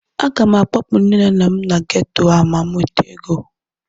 Aga m akpọpụ nne na nna m na geto a ma m nweta ego